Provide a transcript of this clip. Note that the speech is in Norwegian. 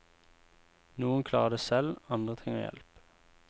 Noen klarer det selv, andre trenger hjelp.